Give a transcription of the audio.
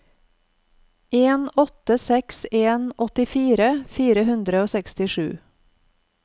en åtte seks en åttifire fire hundre og sekstisju